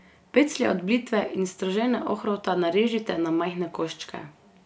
Peclje od blitve in stržene ohrovta narežite na majhne koščke.